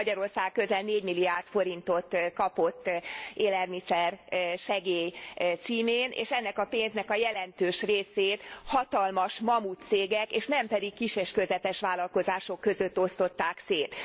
Magyarország közel 4 milliárd forintot kapott élelmiszersegély címén, és ennek a pénznek a jelentős részét hatalmas mamutcégek, és nem pedig kis és közepes vállalkozások között osztották szét.